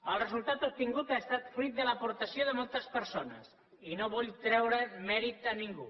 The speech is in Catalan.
el resultat obtingut ha estat fruit de l’aportació de moltes persones i no vull treure mèrit a ningú